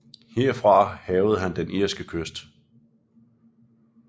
Herfra hærgede han den irske kyst